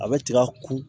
A bɛ tiga ku